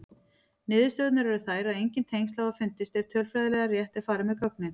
Niðurstöðurnar eru þær að engin tengsl hafa fundist ef tölfræðilega rétt er farið með gögnin.